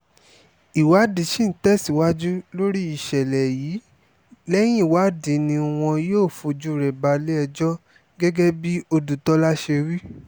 ìwádìí sì ń tẹ̀síwájú lórí ìṣẹ̀lẹ̀ yìí lẹ́yìn ìwádìí ni wọn yóò fojú rẹ̀ balẹ̀-ẹjọ́ gẹ́gẹ́ bí ọdùtòlà ṣe wí